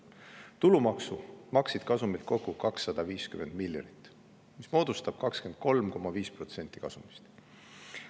Tulumaksu maksid kasumilt kokku 250 miljonit, mis moodustab 23,5% kasumist.